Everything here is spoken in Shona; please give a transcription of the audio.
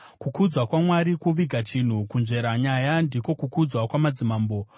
Kukudzwa kwaMwari kuviga chinhu; kunzvera nyaya ndiko kukudzwa kwamadzimambo.